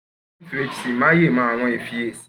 ma ye ma mo awon efiyesi